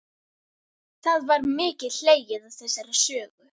Það var mikið hlegið að þessari sögu.